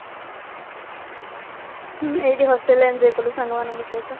ହ୍ମ ଏଇଠି hostelରେ enjoy କଲୁ ସାଙ୍ଗମାନଙ୍କ ସହିତ